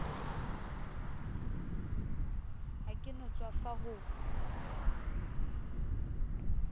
ha ke no tswafa ho